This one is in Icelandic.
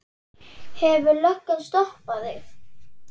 Hefur löggan stoppað þig?